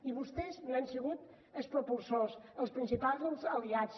i vostès n’han sigut els propulsors els principals aliats